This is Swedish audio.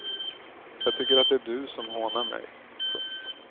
Jag tycker det är du som hånar mig. punkt